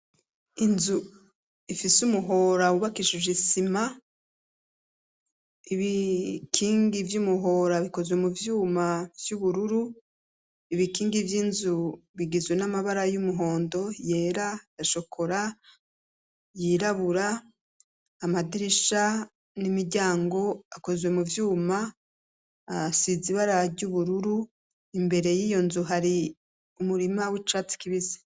inzu ifise umuhora wubakaishije Inzu ifise umuhora wubakishije isima, ibikingi vy'umuhora bikozwe mu vyuma vy'ubururu, ibikingi vy'inzu bigizwe n'amabara y'umuhondo, yera, yashokora yirabura, amadirisha n'imiryango akozwe mu vyuma asize ibara ry'ubururu. imbere y'iyo nzu hari umurima w'icatsi kibisi.